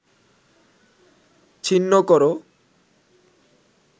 ছিন্ন কর